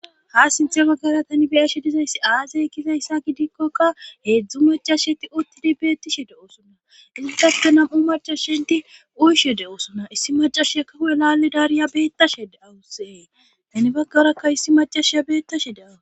ha sinthe baggara tani beyashe dizayssi aazay kizayssa gidikkokka heedzdzu macasheti uttidi beettishe de7osunna izitake nam7u maca shenti uyshe de7osunna issi macashia kaho laalli daariya beettashee awusee tani baggarakka issi macashiya beettashe de7a